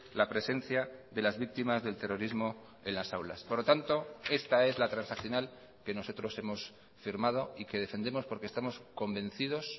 la presencia de las víctimas del terrorismo en las aulas por lo tanto esta es la transaccional que nosotros hemos firmado y que defendemos porque estamos convencidos